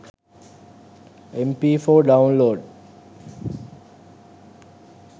mp4 download